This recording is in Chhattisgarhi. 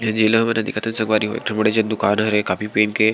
ए जे एलोवेरा देखत हे संगवारी मन एक ठो बड़े से दुकान हरे काफ़ी पेन के --